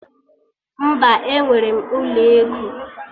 Mba, enwere m ụlọ ego